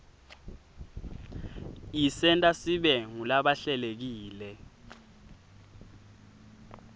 isenta sibe ngulaba hlelekile